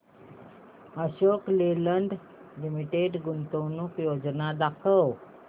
Ashok Leyland limited गुंतवणूक योजना दाखव